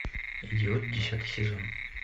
идиот десятый сезон